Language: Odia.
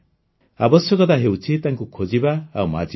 ଆବଶ୍ୟକତା ହେଉଛି ତାଙ୍କୁ ଖୋଜିବା ଆଉ ମାଜିବା